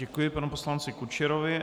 Děkuji panu poslanci Kučerovi.